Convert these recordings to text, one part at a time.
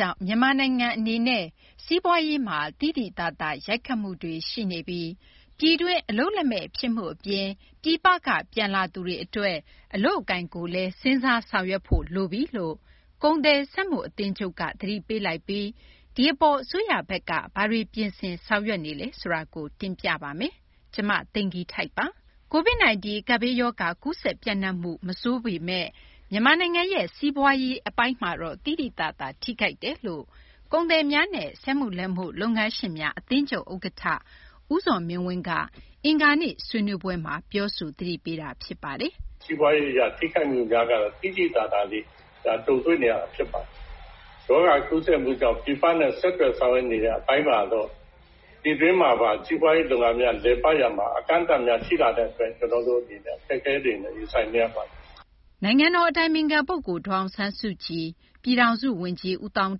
ြောင့် မြန်မာနိုင်ငံ အနေနဲ့ စီးပွားရေးမှာ သိသိသာသာ ရိုက်ခတ်မှုတွေ ရှိနေပြီ၊ ပြည်တွင်း အလုပ်လက်မဲ့ ဖြစ်မှု အပြင် ပြည်ပက ပြန်လာသူတွေ အတွက် အလုပ်အကိုင်ကိုလည်း စဉ်းစားဆောင်ရွက်ဖို့ လိုပြီလို့ ကုန်သည်စက်မှုအသင်းချုပ်က သတိပေးလိုက်ပြီး ဒီအပေါ် အစိုးရဘက်က ဘာတွေ ပြင်ဆင်ဆောင်ရွက်နေလဲ ဆိုတာ မ သိင်္ဂ ီထိုက် တင်ပြပေးပါမယ်။ COVID 19 ကပ်ဘေးရောဂါ ကူးစက် ပျံ့နှံ့မှု မဆိုးရွားပေမယ့် မြန်မာနိုင်ငံရဲ့ စီးပွားရေးအပိုင်းမှာတော့ သိသိသာသာ ထိခိုက်တယ်လို့ ကုန်သည်များနဲ့ စက်မှုလက်မှု လုပ်ငန်းရှင်များ အသင်းချုပ် ဥက္ကဌ ဦးဇော်မင်းဝင်းက အင်္ဂါနေ့ ဆွေးနွေးပွဲမှာ ပြောဆို သတိပေးတာ ဖြစ်ပါတယ်။ “ စီးပွားရေး အရ ထိခိုက်မှုတွေကတော့ သိသိသာသာ ကြုံတွေ့နေရတာ ဖြစ်ပါတယ်။ ရောဂါကူးစက်မှုကြောင့် ပြည်ပနဲ့ ဆက်သွယ်ဆောင်ရွက်နေတဲ့ အပိုင်းမှာကော ပြည်တွင်းမှာပါ စီးပွားရေး လုပ်ငန်းများ လည်ပတ် ရာမှာ အကန့်အသတ်များ ရှိလာတဲ့ အတွက် ကျနော်တို့ အနေနဲ့ အခက်အခဲတွေနဲ့ ရင်ဆိုင်နေရပါတယ်။ ” နိုင်ငံတော် အတိုင်ပင်ခံ ပုဂ္ဂိုလ် ဒေါ်အောင်ဆန်းစုကြည်၊ ပြည်ထောင်စု ဝန်ကြီး ဦးသောင်း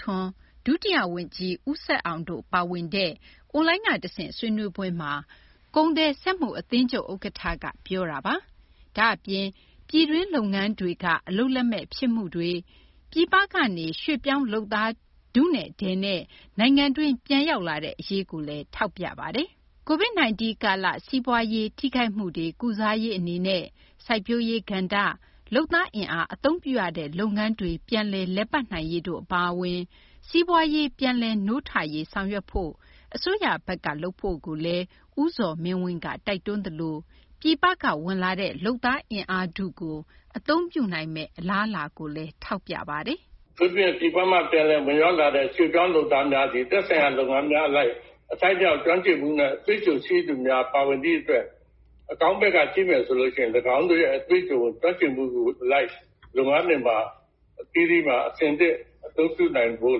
ထွန်း၊ ဒုတိယ ဝန်ကြီး ဦးဆက်အောင်တို့ ပါဝင်တဲ့ အွန်လိုင်းက တဆင့် ဆွေးနွေးပွဲမှာ ကုန်သည် စက်မှု အသင်းချုပ် ဥက္ကဌက အခုလို ပြောခဲ့တာပါ။ ဒါ့အပြင် ပြည်တွင်း လုပ်ငန်းတွေက အလုပ်လက်မဲ့ဖြစ်မှုတွေ အပြင် ပြည်ပကနေ ရွှေ့ပြောင်းလုပ်သား ထုနဲ့ ထည်နဲ့ နိုင်ငံတွင်း ပြန်ရောက်လာတဲ့ အရေးကိုလည်း ထောက်ပြသွားပါတယ်။ COVID 19 ကာလ စီးပွားရေး ထိခိုက်မှုတွေ ကုစားရေး အနေနဲ့ စိုက်ပျိုးရေးကဏ္ဍ၊ လုပ်သားအင်အား အသုံးပြုရတဲ့ လုပ်ငန်းတွေ ပြန်လည် လည်ပတ်နိုင်ရေးတို့ အပါအဝင် စီးပွားရေး ပြန်လည် နိုးထရေး ဆောင်ရွက်ဖို့ အစိုးရဘက်က လုပ်ဖို့ ဦးဇော်မင်းဝင်းက တိုက်တွန်းသလို ပြည်ပက ဝင်လာတဲ့ လုပ်သား အင်အားထုကို အသုံးပြုနိုင်မယ့် အလားအလာကိုပါ ပြောသွားပါတယ်။ “ ပြည်ပက ဝင်ရောက်လာတဲ့ လုပ်သားများဟာ သက်ဆိုင်ရာ လုပ်ငန်းများ အလိုက် အထိုက်အလျောက် ကျွမ်းကျင်ပြီး အတွေ့အကြုံရှိသူများ ပါဝင်သည့် အတွက် အကောင်းဘက်က ကြည့်မယ်ဆိုရင် ၎င်းတို့ရဲ့ အတွေ့အကြုံ ကျွမ်းကျင်မှု အလိုက် လုပ်ငန်းတွေမှာ အဆင်သင့် အသုံးပြုနိုင်ဖို့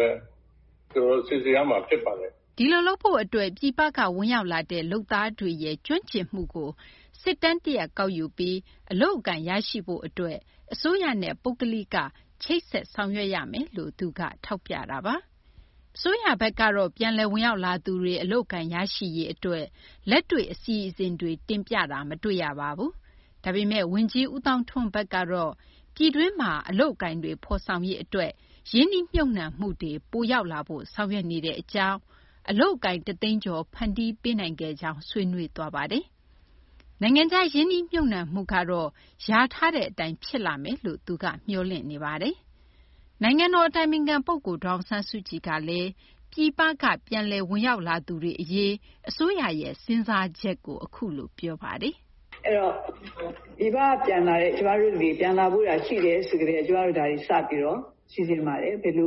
လည်း ကျနော်တို့ စီစဉ်ရမှာ ဖြစ်ပါတယ်။ ” ဒီလိုလုပ်ဖို့က ပြန်လည်ဝင်ရောက်လာတဲ့ လုပ်သားတွေရဲ့ ကျွမ်းကျင်မှုတွေကို စစ်တမ်း တရပ် ကောက်ယူပြီး အလုပ်အကိုင် ရရှိရေး အတွက် အစိုးရနဲ့ ပုဂ္ဂလိကပိုင်း ချိတ်ဆက် ဆောင်ရွက်ရမယ်လို့ ထောက်ပြသွားပါတယ်။ အစိုးရဘက်ကတော့ ပြန်လည် ဝင်ရောက်လာသူတွေ အလုပ်အကိုင် ရရှိရေး အတွက် လက်တွေ့ အစီအစဉ်တွေ တင်ပြတာ မတွေ့ရပါဘူး။ ဒါပေမယ့် ဝန်ကြီး ဦးသောင်းထွန်းဘက်ကတော့ ပြည်တွင်းမှာ အလုပ်အကိုင်တွေ ဖော်ဆောင်ရေး အတွက် ရင်းနှီးမြှုပ်နှံမှုတွေ ပိုရောက်လာဖို့ ဆောင်ရွက်နေတဲ့ အကြောင်း၊ အလုပ်အကိုင် တသိန်းကျော် ဖန်တီးပေးနိုင်ခဲ့ကြောင်း ဆွေးနွေးသွားပါတယ်။ နိုင်ငံခြား ရင်းနှီးမြှုပ်နှံမှုကတော့ လျာထားတဲ့ အတိုင်း ဖြစ်လာဖို့ သူက မျှော်လင့်နေတာပါ။ နိုင်ငံတော် အတိုင်ပင်ခံ ပုဂ္ဂိုလ် ဒေါ်အောင်ဆန်းစုကြည်ကလည်း ပြည်ပက ပြန်လည် ဝင်ရောက်လာသူတွေ အရေး အစိုးရရဲ့ စဉ်းစားချက်ကို ပြောပြပါတယ်။ ပြည်ပက ပြန်လာတဲ့ ကျမတို့ တတွေ ပြန်လာဖို့ရာ ရှိတယ် ဆိုကတည်းက ကျမတို့ တတွေ ဒါတွေ စပြီး စီစဉ်ပါတယ်။ ဘယ်လို ကျမ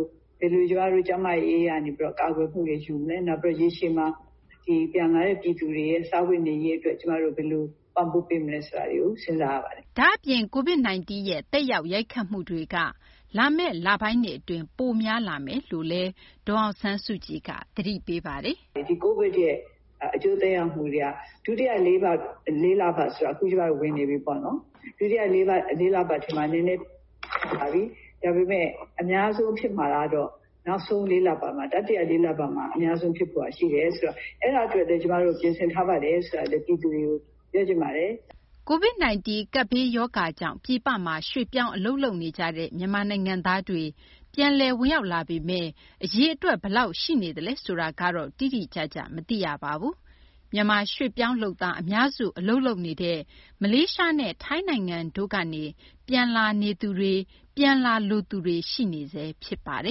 တို့ ကျန်းမာရေး အရ ကာကွယ်မှုတွေ ယူမလဲ၊ နောက် ရေရှည်မှာ ပြန်လာတဲ့ ပြည်သူတွေရဲ့ စားဝတ်နေရေး အတွက် ဘယ်လို ပံ့ပိုးပေးမလဲ ဆိုတာတွေကို စဉ်းစား ရပါတယ်။” ဒါ့အပြင် COVID 19 ရဲ့ သက်ရောက် ရိုက်ခတ်မှုတွေက လာမယ့် လပိုင်းတွေ အတွင်း ပိုများလာမယ်လို့လည်း ဒေါ်အောင်ဆန်းစုကြည်က သတိပေးပါတယ်။ “ဒီ COVID ရဲ့ အကျိုးသက်ရောက်မှုတွေက ဒုတိယ လေးလပတ်ဆိုတာ ကျမတို့ အခု ဝင်နေပြီပေါ့နော်။ ဒုတိယ လေးလပတ်ထဲမှာ နည်းနည်း ထွက်လာပြီ။ ဒါပေမယ့် အများဆုံး ဖြစ်မှာကတော့ နောက်ဆုံး လေးလပတ်မှာ တတိယ လေးလပတ်မှာ အများဆုံး ဖြစ်ဖို့က ရှိတယ်ဆိုတော့ အဲဒါ အတွက်လည်း ကျမတို့ ပြင်ဆင်ထားပါတယ်။ ” COVID 19 ကပ်ရောဂါကြောင့် ပြည်ပမှာ ရွှေ့ပြောင်းအလုပ်လုပ်ကိုင်နေတဲ့ မြန်မာနိုင်ငံသားတွေ ပြန်လည် ဝင်ရောက်လာပေမယ့် အရေအတွက် ဘယ်လောက်ရှိနေလဲ ဆိုတာတော့ တိတိကျကျ မသိရပါဘူး။ မြန်မာ ရွှေ့ပြောင်း လုပ်သား အများစု အလုပ်လုပ်နေတဲ့ မလေးရှားနဲ့ ထိုင်းနိုင်ငံတို့ကနေ ပြန်လာနေသူတွေ၊ ပြန်လာလိုသူတွေ ရှိနေဆဲ ဖြစ်ပါတ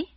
ယ်။